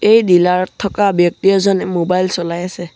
এই ডিলাৰ ত থকা ব্যক্তি এজনে মোবাইল চলাই আছে।